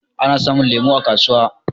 Ana samun lemu a kasuwa.